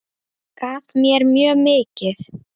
Gaf mér mjög mikið.